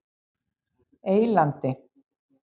Eylandi